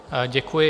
Děkuji.